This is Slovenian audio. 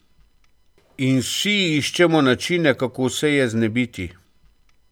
In vsi iščemo načine, kako se je znebiti.